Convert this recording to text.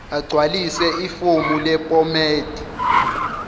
agcwalise ifomu lephomedi